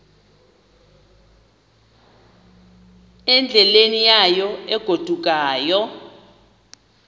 endleleni yayo egodukayo